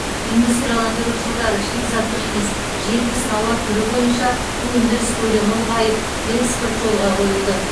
индустрияландыру жылдары шикізаттық емес жетпіс тауар түрі бойынша өндіріс көлемі ұлғайып экспорт жолға қойылды